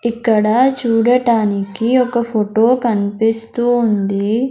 ఇక్కడ చూడటానికి ఒక ఫోటో కనిపిస్తూ ఉంది.